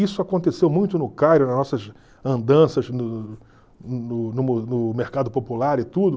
Isso aconteceu muito no Cairo, nas nossas andanças no no no no mercado popular e tudo.